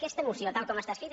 aquesta moció tal com està escrita